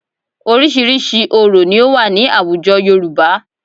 Oríṣiríṣi orò ni ó wà ní àwùjọ Yorùbá